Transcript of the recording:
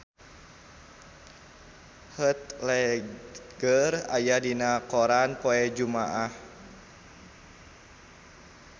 Heath Ledger aya dina koran poe Jumaah